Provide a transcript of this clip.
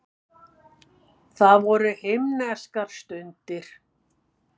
Það voru himneskar stundir.